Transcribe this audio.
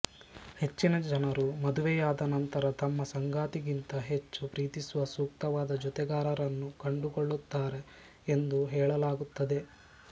ಹೆಚ್ಚಿನ ಜನರು ಮದುವೆಯಾದ ನಂತರ ತಮ್ಮ ಸಂಗಾತಿಗಿಂತ ಹೆಚ್ಚು ಪ್ರೀತಿಸುವ ಸೂಕ್ತವಾದ ಜೊತೆಗಾರರನ್ನು ಕಂಡುಕೊಳ್ಳುತ್ತಾರೆ ಎಂದು ಹೇಳಲಾಗುತ್ತದೆ